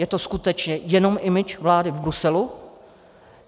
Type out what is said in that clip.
Je to skutečně jenom image vlády v Bruselu?